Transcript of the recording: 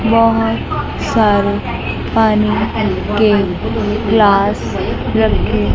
बहोत सारे पानी के ग्लास रखे।